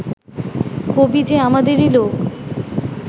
কবি যে আমাদেরই লোক